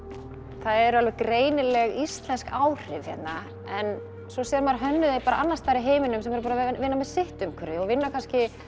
það eru alveg greinileg íslensk áhrif hérna en svo sér maður hönnuði annars staðar í heiminum sem eru að vinna með sitt umhverfi og vinna kannski